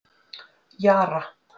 Jara